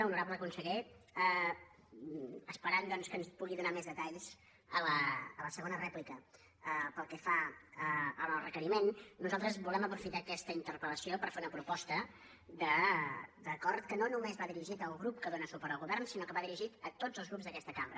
honorable conseller esperant doncs que ens pugui donar més detalls a la segona rèplica pel que fa al requeriment nosaltres volem aprofitar aquesta interpel·lació per fer una proposta d’acord que no només va dirigit al grup que dóna suport al govern sinó que va dirigit a tots els grups d’aquesta cambra